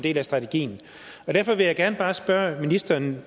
del af strategien derfor vil jeg gerne bare spørge ministeren